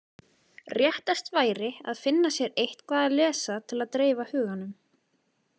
Réttast væri að finna sér eitthvað að lesa til að dreifa huganum.